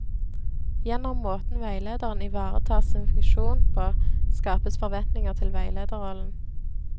Gjennom måten veilederen ivaretar sin funksjon på, skapes forventninger til veilederrollen.